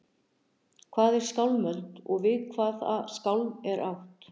Hvað er skálmöld og við hvaða skálm er átt?